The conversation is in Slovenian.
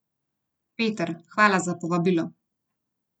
Peter, hvala za povabilo!